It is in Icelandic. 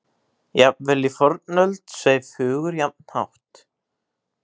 Jafnvel í fornöld sveif hugur jafn hátt.